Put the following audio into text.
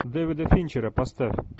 дэвида финчера поставь